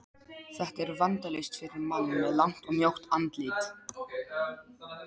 Þetta er vandalaust fyrir mann með langt og mjótt andlit.